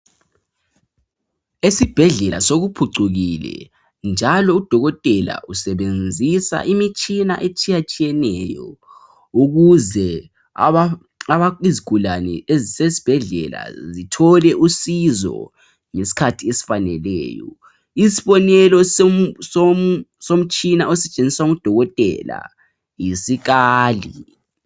Esibhedlela sokuphucukile njalo uDokotela usebenzisa imitshina etshiyatshiyeneyo ukuze aba.. aba... izigulane ezisebhedlela zithole usizo ngesikhathi esifaneleyo. Isibonelo som.. somtshina osetshenziswa nguDokotela yisikali.